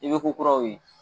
I bɛ ko kuraw ye.